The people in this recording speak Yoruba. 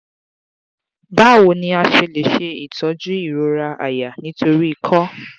báwo ni a ṣe lè se itojú irora aya nítorí ikọ?